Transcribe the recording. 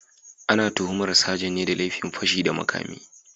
Ana tuhumar sajan ne da laifin fashi da makami